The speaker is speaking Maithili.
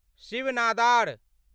शिव नादार